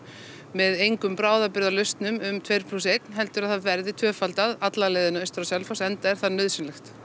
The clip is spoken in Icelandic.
með engum bráðabirgðalausnum um tveir plús einn heldur að það verði tvöfaldað alla leiðina austur á Selfoss enda er það nauðsynlegt